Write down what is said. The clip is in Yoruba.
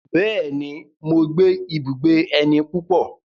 Bẹ́ẹ̀ni, mo gbé ibùgbé ẹni púpọ̀.